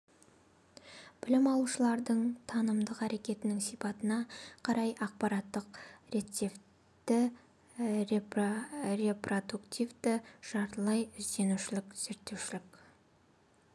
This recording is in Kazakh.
білім алушылардың танымдық әрекетінің сипатына қарай ақпараттық-рецептивті репродуктивті жартылай ізденушілік зерттеушілік